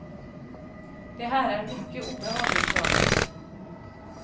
Det här är mycket obehagligt för mig.